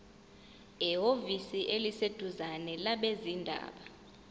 ehhovisi eliseduzane labezindaba